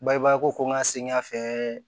Bagɛbaa ko n ka segin ka fɛ